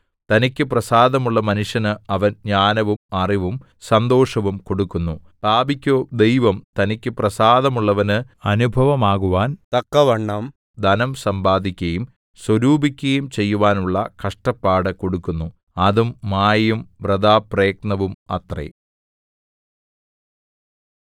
തനിക്കു പ്രസാദമുള്ള മനുഷ്യന് അവൻ ജ്ഞാനവും അറിവും സന്തോഷവും കൊടുക്കുന്നു പാപിക്കോ ദൈവം തനിക്കു പ്രസാദമുള്ളവന് അനുഭവമാകുവാൻ തക്കവണ്ണം ധനം സമ്പാദിക്കയും സ്വരൂപിക്കയും ചെയ്യുവാനുള്ള കഷ്ടപ്പാടു കൊടുക്കുന്നു അതും മായയും വൃഥാപ്രയത്നവും അത്രേ